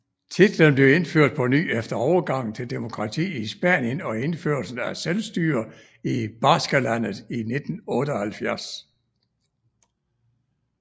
Titlen blev indført på ny efter overgangen til demokrati i Spanien og indførelsen af selvstyre i Baskerlandet i 1978